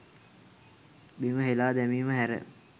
බිම හෙලා දැමීම හැර